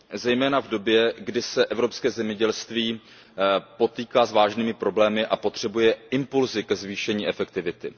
zejména v době, kdy se evropské zemědělství potýká s vážnými problémy a potřebuje impulsy ke zvýšení efektivity.